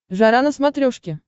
жара на смотрешке